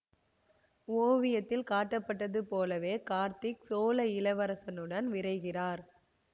ஓவியத்தில் காட்டப்பட்டது போலவே கார்த்திக் சோழ இளவரசனுடன் விரைகிறார்